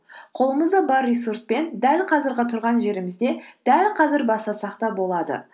қолымызда бар ресурспен дәл қазіргі тұрған жерімізде дәл қазір бастасақ та болады